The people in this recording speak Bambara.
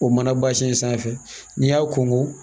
O mana basɛn sanfɛ n'i y'a ko